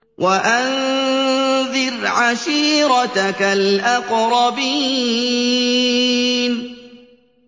وَأَنذِرْ عَشِيرَتَكَ الْأَقْرَبِينَ